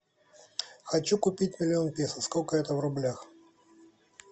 хочу купить миллион песо сколько это в рублях